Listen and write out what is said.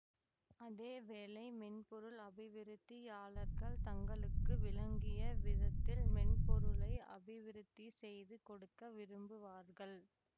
அதே வேளை மென்பொருள் அபிவிருத்தியாளர்கள் தங்களுக்கு விளங்கிய விதத்தில் மென்பொருளை அபிவிருத்தி செய்து கொடுக்க விரும்புவார்கள்